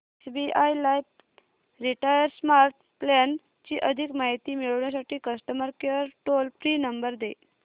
SBI life retire smart plan ची अधिक माहिती मिळविण्यासाठी customer care toll free number दे